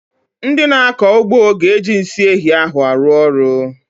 Ndị na-akọ ugbo ga-eji nsị ehi ahụ arụ ọrụ.